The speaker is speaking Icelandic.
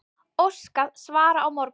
Óskað svara á morgun